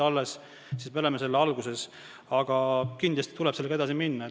Me oleme selle alguses, aga kindlasti tuleb sellega edasi minna.